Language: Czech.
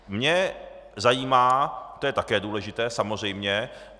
Mě zajímá - to je také důležité, samozřejmě.